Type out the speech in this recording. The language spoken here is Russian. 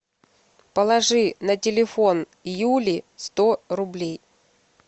положи на телефон юли сто рублей